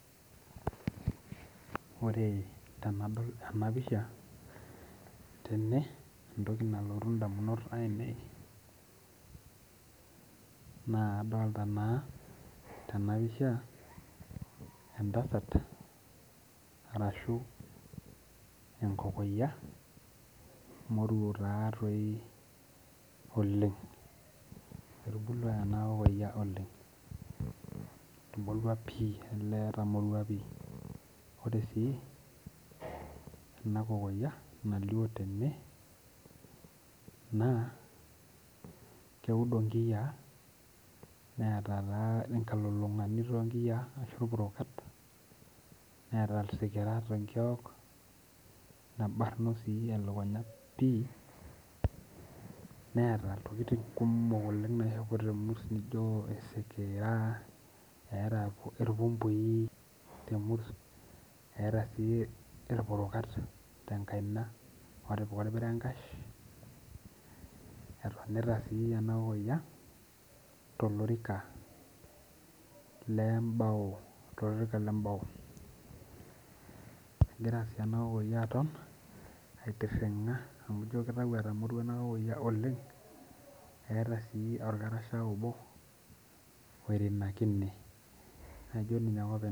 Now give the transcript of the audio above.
Ore tenadol ena pisha tene antoki ndamunot ainei na kadolta na tenapisha entasat arashu enkokoyia moruo taatoi oleng ,etomorua pii ore si enakokoyia nalio tene na keudl nkiyia neeta irpurukat neeta isikirat tnkiok nebarno elekunya pii neeta iltokitin kumok oishopo temurs nijo eeta irpumpui temurs eeta sj irpurukat tenakaina otipika etonita si enakokoyia tolorika le mbao egira si ena kokoyia aton aitiringa amu ino kitau etamorua enakokoyia oleng eeta si orkarasah obo oirinakine ajo ninye ake openy.